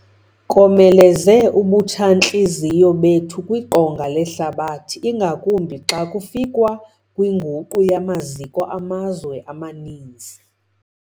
Komeleze ubutshantliziyo bethu kwiqonga lehlabathi, ingakumbi xa kufikwa kwinguqu yamaziko amazwe amaninzi.